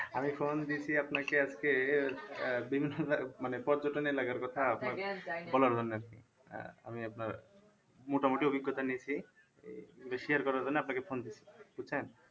আমি phone দিছি আপনাকে আজকে আহ বিভিন্ন মানে পর্যটন এলাকার কথা বলার জন্যে আরকি আহ আমি আপনার মোটামোটি অভিজ্ঞতা নিয়েছি এই share করার জন্য আপনাকে phone দিছি বুঝছেন?